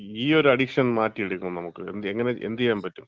ഈയൊരു അഡിക്ഷൻ മാറ്റിയെടുക്കാണം നമ്മക്ക്. എങ്ങനെ? എന്ത് ചെയ്യാൻ പറ്റും നമുക്ക്?